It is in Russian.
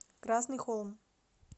красный холм